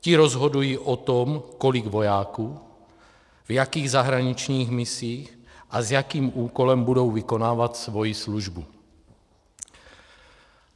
Ti rozhodují o tom, kolik vojáků, v jakých zahraničních misích a s jakým úkolem budou vykonávat svoji službu.